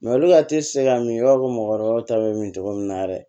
olu ka teli te se ka min i b'a fɔ mɔgɔkɔrɔbaw ta bɛ min cogo min na yɛrɛ